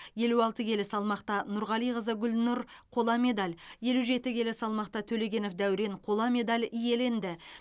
елу алты келі салмақта нұрғалиқызы гүлнұр қола медаль елу жеті келі салмақта төлегенов дәурен қола медаль иеленді